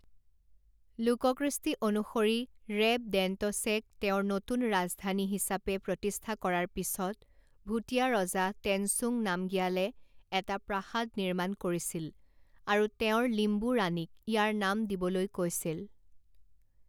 লোককৃষ্টি অনুসৰি, ৰেবডেণ্টছেক তেওঁৰ নতুন ৰাজধানী হিচাপে প্ৰতিষ্ঠা কৰাৰ পিছত, ভূটীয়া ৰজা টেনচুং নামগিয়ালে এটা প্ৰাসাদ নিৰ্মাণ কৰিছিল আৰু তেওঁৰ লিম্বু ৰাণীক ইয়াৰ নাম দিবলৈ কৈছিল।